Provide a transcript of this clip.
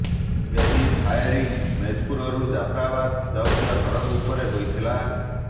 ଏହି ଫାୟାରିଙ୍ଗ୍ ମୋଜପୁରରୁ ଜାଫରାବାଦ୍ ଯାଉଥିବା ସଡ଼କ ଉପରେ ହୋଇଥିଲା